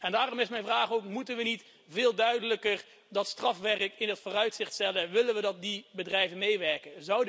Daarom is mijn vraag moeten we niet veel duidelijker dat strafwerk in het vooruitzicht stellen, willen we dat die bedrijven meewerken?